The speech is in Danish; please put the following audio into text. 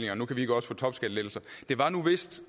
at nu kan vi ikke også få topskattelettelser det var nu vist